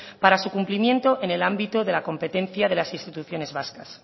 para su cumplimiento en ámbito de la competencia de las instituciones vascas